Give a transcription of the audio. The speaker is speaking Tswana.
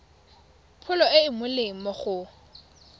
pholo e e molemo go